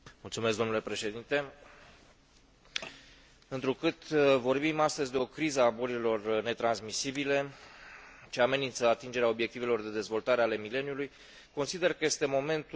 Întrucât vorbim astăzi de o criză a bolilor netransmisibile, ce amenință atingerea obiectivelor de dezvoltare ale mileniului, consider că este momentul să investim bani și timp în rezolvarea acestei probleme.